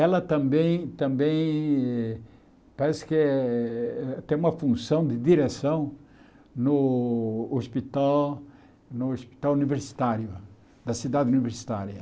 Ela também também eh parece que é tem uma função de direção no hospital no hospital universitário, da cidade universitária.